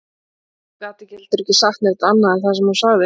Hún gat heldur ekki sagt neitt annað en það sem hún sagði